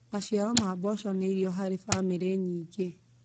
Maciaro ma mboco nĩ irio harĩ famĩlĩ nyingĩ.